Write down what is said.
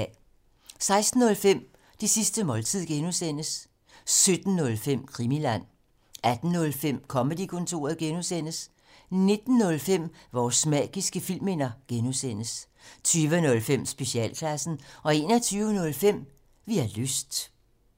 16:05: Det sidste måltid (G) 17:05: Krimiland 18:05: Comedy-kontoret (G) 19:05: Vores magiske filmminder (G) 20:05: Specialklassen 21:05: Vi har lyst